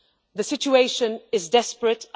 The situation is desperate.